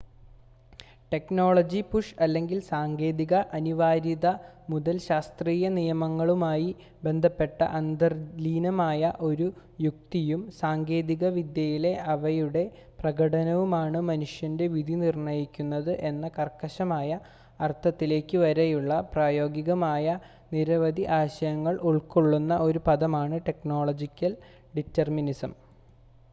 technology-push അല്ലെങ്കിൽ സാങ്കേതിക അനിവാര്യത മുതൽ ശാസ്ത്രീയ നിയമങ്ങളുമായി ബന്ധപ്പെട്ട അന്തർലീനമായ ഒരു യുക്തിയും സാങ്കേതിക വിദ്യയിലെ അവയുടെ പ്രകടനവുമാണ് മനുഷ്യൻ്റെ വിധി നിർണ്ണയിക്കുന്നത് എന്ന കർശനമായ അർത്ഥത്തിലേക്ക് വരെയുള്ള പ്രായോഗികമായ നിരവധി ആശയങ്ങൾ ഉൾകൊള്ളുന്ന ഒരു പദമാണ് ടെക്നോളജിക്കൽ ഡിറ്റെർമിനിസം